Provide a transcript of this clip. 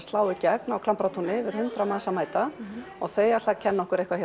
slá í gegn á Klambratúni yfir hundrað manns að mæta og þau ætla að kenna okkur eitthvað